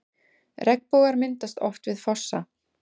Regnbogar myndast oft við fossa.